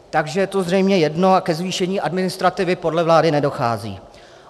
Takže je to zřejmě jedno a ke zvýšení administrativy podle vlády nedochází.